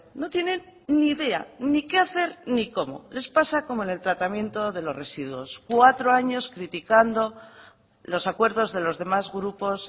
no tienen ni idea ni qué hacer ni cómo les pasa como en el tratamiento de los residuos cuatro años criticando los acuerdos de los demás grupos